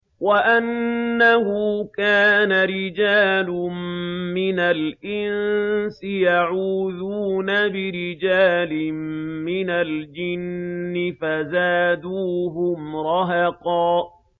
وَأَنَّهُ كَانَ رِجَالٌ مِّنَ الْإِنسِ يَعُوذُونَ بِرِجَالٍ مِّنَ الْجِنِّ فَزَادُوهُمْ رَهَقًا